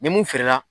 Ni mun feere la